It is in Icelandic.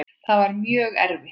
Það var mjög erfitt.